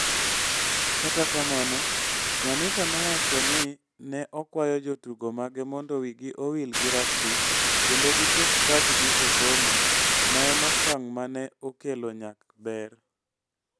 Kata kamano, Nyamita nowacho ni ne okwayo jotugo mage mondo wigi owil gi rugby kendo giket pachgi e somo, ma en okang ' ma ne okelo nyak maber.